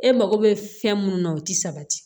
E mago bɛ fɛn mun na o ti sabati